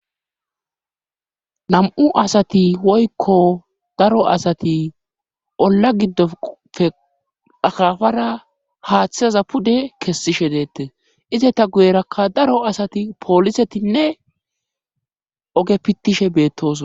nam7u asati woykko daro asati olla giddofe akafara haaththizaza pude kessishe deette ize ta guyerakka daro asati poolisetinne oge pittishe beettoso